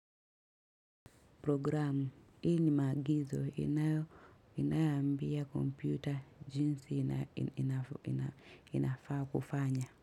Programu, hii ni maagizo inayoambia kompyuta jinsi inafaa kufanya.